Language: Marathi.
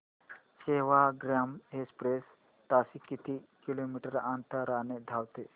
सेवाग्राम एक्सप्रेस ताशी किती किलोमीटर अंतराने धावते